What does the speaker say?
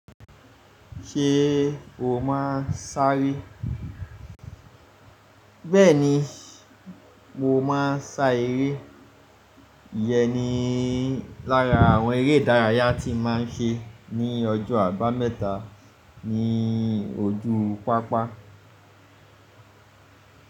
Ṣé o máa sá eré? Bẹ́ẹ̀ni, mo máa sá eré. Iyẹn ni lára àwọn eré ìdárayá tí n máa ń ṣe ní ọjọ́ àbámẹ́ta ní ojú pápá.